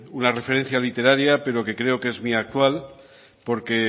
una referencia literaria pero que creo que es muy actual porque